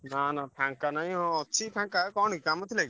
ନା ନା ଫାଙ୍କା ନାଇଁ ହଁ ଅଛି ଫାଙ୍କା କଣ କି କାମ ଥିଲା କି?